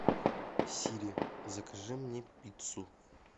сири закажи мне пиццу